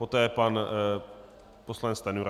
Poté pan poslanec Stanjura.